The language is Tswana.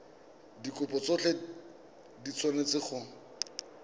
dikopo tsotlhe di tshwanetse go